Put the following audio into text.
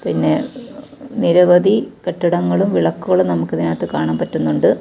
പിന്നെ നിരവധി കെട്ടിടങ്ങളും വിളക്കുകളും നമുക്ക് ഇതിനകത്ത് കാണാൻ പറ്റുന്നുണ്ട്.